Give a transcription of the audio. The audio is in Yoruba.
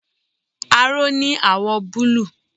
Aró ní àwọ̀ọ̀ búlúù.